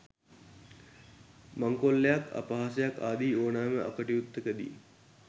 මංකොල්ලයක් අපහාසයක් ආදී ඕනෑම අකටයුත්තක දී